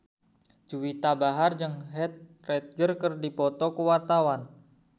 Juwita Bahar jeung Heath Ledger keur dipoto ku wartawan